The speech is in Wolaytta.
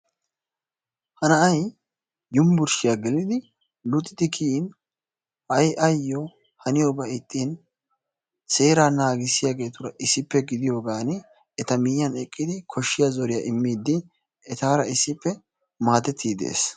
Ha na'ay yunburushshiyaa geellidi luuxxidi kiyiin ha'i ayoo haiyoobay iixin seeraa naagisiyaagetura issippe gidiyoogan eta miyiyaan eqqidi koshshiyaa zooriyaa immidi etaara issippe maadettiidi de'ees.